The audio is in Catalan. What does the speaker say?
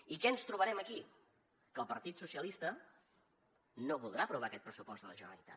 i què ens trobarem aquí que el partit socialista no voldrà aprovar aquest pressupost de la generalitat